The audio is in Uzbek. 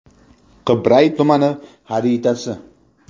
Qibray tumani xaritasi.